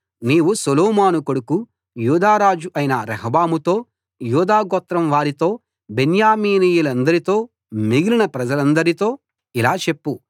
నీవు సొలొమోను కొడుకు యూదా రాజు అయిన రెహబాముతో యూదా గోత్రం వారితో బెన్యామీనీయులందరితో మిగిలిన ప్రజలందరితో ఇలా చెప్పు